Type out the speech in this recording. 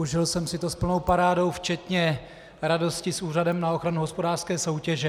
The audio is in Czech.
Užil jsem si to s plnou parádou včetně radosti s Úřadem na ochranu hospodářské soutěže.